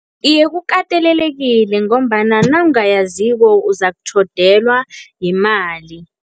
Iye, kukatelelekile ngombana nawungayaziko uzakutjhodelwa yimali.